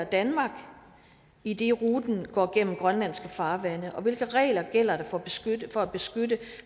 danmark idet ruten går gennem grønlandske farvande og hvilke regler gælder der for for at beskytte